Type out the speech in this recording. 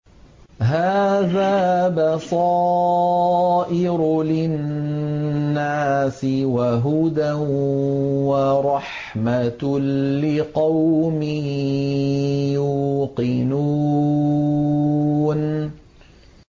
هَٰذَا بَصَائِرُ لِلنَّاسِ وَهُدًى وَرَحْمَةٌ لِّقَوْمٍ يُوقِنُونَ